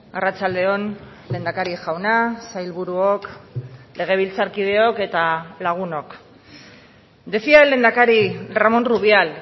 arratsalde on lehendakari jauna sailburuok legebiltzarkideok eta lagunok decía el lehendakari ramón rubial